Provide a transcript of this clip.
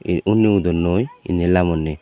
hi unni udonnoi eni lamonni.